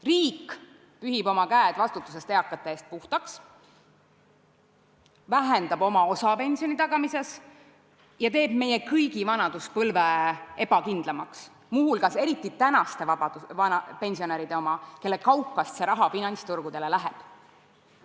Riik pühib oma käed vastutusest eakate eest puhtaks, vähendab oma osa pensioni tagamises ja teeb meie kõigi vanaduspõlve ebakindlamaks, eriti aga praeguste pensionäride oma, kelle kaukast see raha finantsturgudele läheb.